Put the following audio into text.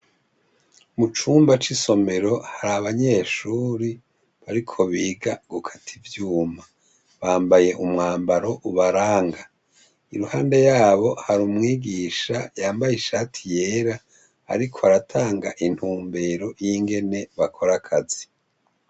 Mucumba cisomero hari abanyeshure bariko biga gukata ivyuma bambaye umwambaro ubaranga iruhande yabo hari umwigisha yambaye ishati yera ariko aratanga intumbero yingene bakora akazi